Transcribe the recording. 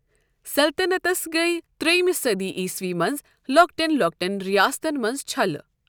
سلطنتس گٔیۍ تریِمہِ صدی عیسوی منز لوكٹین لو٘كٹین رِیاستن منز چھلہٕ ۔